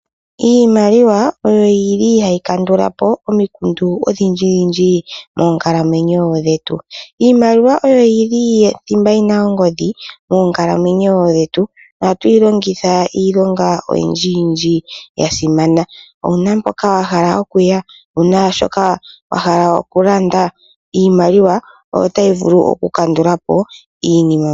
Iimaliwa oyo hayi kandula po omikundu odhindjidhindji moonkalamwenyo dhetu. Iimaliw a oyo thimba ena ongodhi moonkalamwenyo dhetu. Ohatu yi longitha iilonga oyindjiyindji ya simana. Owu na mpoka wa hala okuya? Owu na shoka wa hala okulanda? Iimaliwa oyo tayi vulu okukandula po iinima mbika.